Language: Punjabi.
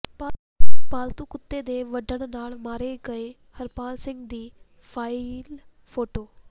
ਪਾਲਤੂ ਕੁੱਤੇ ਦੇ ਵੱਢਣ ਨਾਲ ਮਾਰੇ ਗਏ ਹਰਪਾਲ ਸਿੰਘ ਦੀ ਫਾਈਲ ਫੋਟੋ